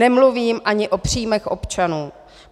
Nemluvím ani o příjmech občanů.